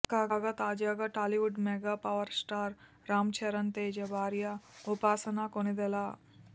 కాగా తాజాగా Tollywood mega power star Ram Charan Teja భార్య ఉపాసన కొణిదెల